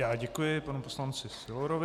Já děkuji panu poslanci Sylorovi.